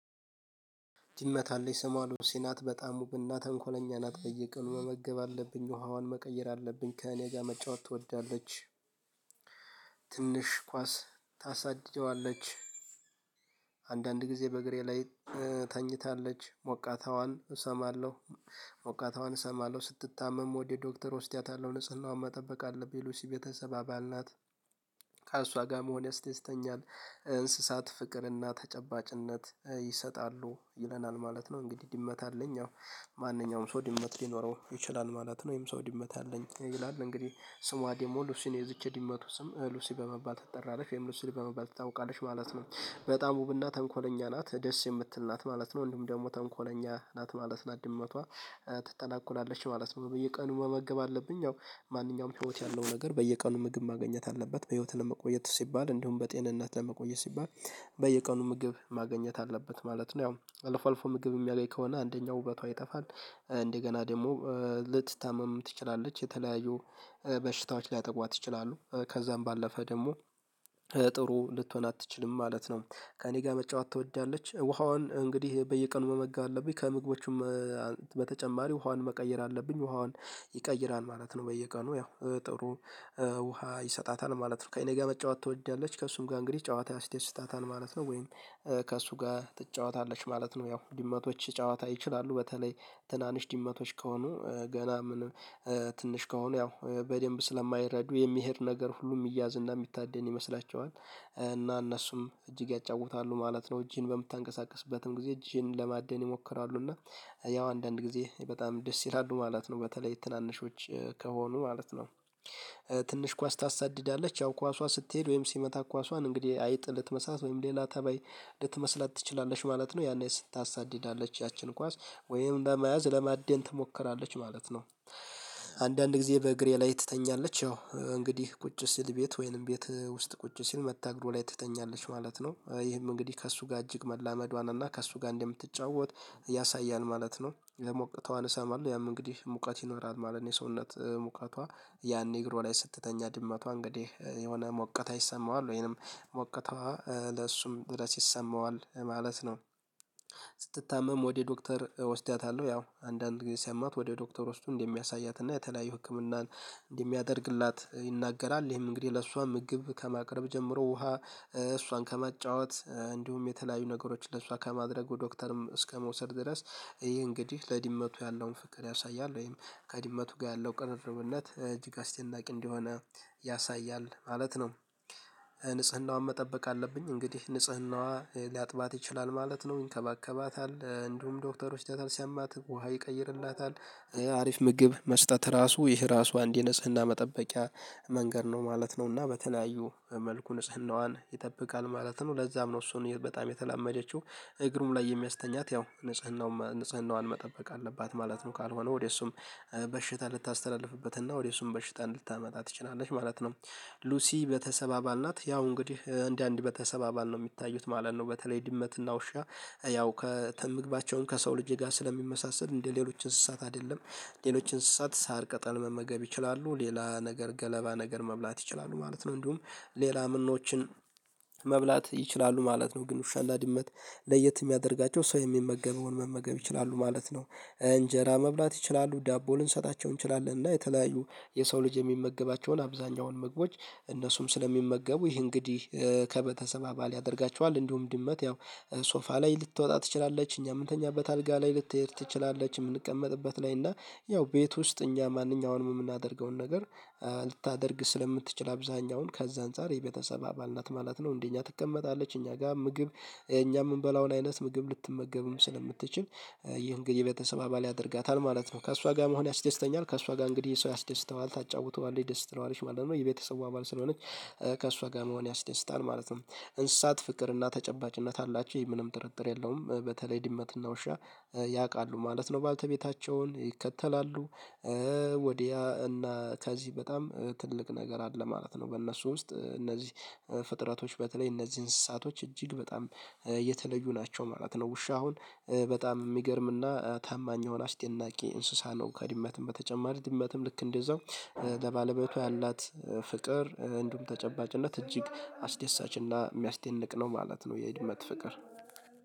ድመት አለኝ ስሟ ሲናት በጣም ብና ተንኮለኛ ናት በየቀኑ መመገብ አለብኝ ውሃዋን መቀየር አለብኝ ከእኔ ጋር መጫወት ትወዳለች። ትንሽ ኳስ ታሳድጀዋለች። አንዳንድ ጊዜ በእግሬ ላይ ተኝታለች ሞቃታዋን እሰማለሁ። ሞቃታዋን እሰማለሁ ስትታመም ወደ ዶክተር እወስዳታለሁ ንጽህናውን መጠበቅ አለብኝ። ሉሲ ቤተሰብ አባል ናት። ከእሷ ጋር መሆን ያስተኛል። እንስሳት ፍቅርና ተጨባጭነት ይሰጣሉ ይለናል ማለት ነው። እንግዲህ ድመት አለኝ። ማንኛውም ሰው ድመት ሊኖረው ይችላል ማለት ነው። ወይም ሰው ድመት አለኝ ይላል። እንግዲህ ስሟ ደግሞ ሉሲን የዚች ዲመቱ ስም ሉሲ በመባት ትጠራለች ወይም ሉሲ በመባል ትታወቃለሽ ማለት ነው። በጣም ውብና ተንኮለኛ ናት ደስ የምትል ናት ማለት ነው። ወንድም ደግሞ ተንኮለኛ ናት ማለት ነው። አድምመቷ ትተናኩላለች ማለት ነው። በየቀኑ መመገብ አለብኝ። ያው ማንኛውም ህይወት ያለው ነገር በየቀኑ ምግብ ማግኘት አለበት በህይወት ለመቆየት ሲባል እንዲሁም በጤንነት ለመቆየት ሲባል። በየቀኑ ምግብ ማግኘት አለበት ማለት ነው። ያው አልፎ አልፎ ምግብ የሚያገኝ ከሆነ አንደኛው ውበቷ ይጠፋል። እንደገና ደግሞ ልትታመም ትችላለች። የተለያዩ በሽታዎች ሊያጠቋት ይችላሉ። ከዛም ባለፈ ደግሞ ጥሩ ልትሆን አትችልም ማለት ነው። ከእኔ ጋር መጫወት ትወዳለች ውሃዋን እንግዲህ በየቀኑ መመገብ አለብኝ። ከምግቦቹም በተጨማሪ ውሃዋን መቀየር አለብኝ። ውሃዋን ይቀይራል ማለት ነው። በየቀኑ ያው ጥሩ ውሃ ይሰጣታል ማለት ነው። ከእኔ ጋር መጫወት ትወዳለች ከእሱም ጋር እንግዲህ ጨዋታ ያስደስታታል ማለት ነው። ወይም ከእሱ ጋር ትጫወታለች ማለት ነው። ያው ድመቶች ጨዋታ ይችላሉ። በተለይ ትናንሽ ድመቶች ከሆኑ ገና ምንም ትንሽ ከሆኑ ያው በደንብ ስለማይረዱ የሚሄድ ነገር ሁሉ የሚያዝ እና የሚታደን ይመስላቸዋል። እና እነሱም እጅግ ያጫውታሉ ማለት ነው። እጅን በምታንቀሳቅስበትም ጊዜ እጅን ለማደን ይሞክራሉ። እና ያው አንዳንድ ጊዜ በጣም ደስ ይላሉ ማለት ነው። በተለይ ትናንሾች ከሆኑ ማለት ነው። ትንሽ ኳስ ታሳድዳለች ያው ኳሷ ስትሄድ ወይም ሲመታ ኳሷን እንግዲህ አይጥ ልትመስላት ወይም ሌላ ተባይ ልትመስለት ትችላለች ማለት ነው። ያኔ ስታሳድዳለች ያችን ኳስ ወይም ለመያዝ ለማደን ትሞክራለች ማለት ነው። አንዳንድ ጊዜ በእግሬ ላይ ትተኛለች ያው እንግዲህ ቁጭ ሲል ቤት ወይንም ቤት ውስጥ ቁጭ ሲል መጣ እግር ላይ ትተኛለች ማለት ነው። ይህም እንግዲህ ከእሱ ጋር እጅግ መላመዷን እና ከእሱ ጋር እንደምትጫወት ያሳያል ማለት ነው። ደግሞ እቅቷን እሰማለሁ ያም እንግዲህ ሙቀት ይኖራል ማለት ነው። የሰውነት ሙቀቷ ያኔ እግሯ ላይ ስትተኛ ድመቷ እንግዲህ የሆነ ሙቀት ይሰማዋል ወይንም ሙቀትዋ ለእሱም ድረስ ይሰማዋል ማለት ነው። ስትታመም ወደ ዶክተር ወስዳታለሁ ያው አንዳንድ ጊዜ ሲያማት ወደ ዶክተር ውስጥ እንደሚያሳያት እና የተለያዩ ህክምናን እንዲህ የሚያደርግላት ይናገራል። ይህም እንግዲህ ለእሷ ምግብ ከማቅረብ ጀምሮ ውሃ እሷን ከመጫወት እንዲሁም የተለያዩ ነገሮችን ለእሷ ከማድረጉ ዶክተርም እስከመውሰድ ድረስ ይህ እንግዲህ ለድመቱ ያለውን ፍቅር ያሳያል ወይም ከድመቱ ጋር ያለው ቅርርብነት እጅግ አስደናቂ እንደሆነ ያሳያል ማለት ነው። ንጽህናዋን መጠበቅ አለብኝ እንግዲህ ንጽህናዋ ሊያጥባት ይችላል ማለት ነው ይንከባከባታል እንዲሁም ዶክተሮች ተሰማት ውሃ ይቀይርላታል። አሪፍ ምግብ መስጠት ራሱ ይህ ራሱ አንድ የንጽህና መጠበቂያ መንገድ ነው ማለት ነው። እና በተለያዩ መልኩ ንጽህናዋን ይጠብቃል ማለት ነው። ለዛም ነው እሱን በጣም የተላመደችው። እግሩም ላይ የሚያስተኛት ያው ንጽህናው ንጽህናውን መጠበቅ አለባት ማለት ነው። ካልሆነ ወደ እሱም በሽታ ልታስተላልፍበት ወደሱም በሽታ ልታመጣ ትችላለች ማለት ነው። ሉሲ በተሰባባል ናት ያው እንግዲህ እንደ አንድ ቤተሰብ ነው የሚታዩት ማለት ነው። በተለይ ድመትና ውሻ ያው ከምግባቸውን ከሰው ልጄ ጋር ስለሚመሳሰል እንደ ሌሎች እንስሳት አይደለም። ሌሎች እንስሳት ሳር ቀጠል መመገብ ይችላሉ ሌላ ነገር ገለባ ነገር መብላት ይችላሉ ማለት ነው። እንዲሁም ሌላ ምኖችን መብላት ይችላሉ ማለት ነው። ግን ዉሻ እና ድመት ለየት የሚያደርጋቸው ሰው የሚመገበውን መመገብ ይችላሉ ማለት ነው። እንጀራ መብላት ይችላሉ ዳቦ ልንሰጣቸው እንችላለን እና የተለያዩ የሰው ልጅ የሚመገባቸውን አብዛኛውን ምግቦች እነሱም ስለሚመገቡ ይሄ እንግዲህ ከቤተሰብ አባል ያደርጋቸዋል። እንዲሁም ድመት ያው ሶፋ ላይ ልትወጣ ትችላለች። እኛ የምንተኛበት አልጋ ላይ ልትሄድ ትችላለች። የምንቀመጥበት ላይ እና ያው ቤት ውስጥ እኛ ማንኛውንም የምናደርገውን ነገር ልታደርግ ስለምትችል አብዛኛውን ከዛ አንፃር የቤተሰብ አባል ናት ማለት ነው። እንዴ እኛ ትቀመጣለች እኛ ጋር ምግብ እኛ የምንበላውን አይነት ምግብ ልትመገብም ስለምትችል ይህን እንግዲህ ቤተሰብ አባል ያደርጋታል ማለት ነው። ከእሷ ጋር መሆን ያስደስተኛል ከእሷ ጋር እንግዲህ ሰው ያስደስተዋል ታጫውተዋለች ደስ ትለዋለች ማለት ነው። የቤተሰቡ አባል ስለሆነች ከእሷ ጋር መሆን ያስደስታል ማለት ነው። እንስሳት ፍቅር እና ተጨባጭነት አላቸው ምንም ጥርጥር የለውም። በተለይ ድመትና ውሻ ያውቃሉ ማለት ነው በአልተቤታቸውን ይከተላሉ። ወዲያ እና ከዚህ በጣም ትልቅ ነገር አለ ማለት ነው። በእነሱ ውስጥ እነዚህ ፍጥረቶች በተለይ እነዚህ እንስሳቶች እጅግ በጣም የተለዩ ናቸው ማለት ነው። ውሻ አሁን በጣም የሚገርም እና ታማኝ የሆነ አስደናቂ እንስሳ ነው። ከድመትም በተጨማሪ ድመትም ልክ እንደዛው ለባለቤቷ ያላት ፍቅር እንደውም ተጨባጭነት እጅግ አስደሳች እና የሚያስደንቅ ነው ማለት ነው። የድመት ፍቅር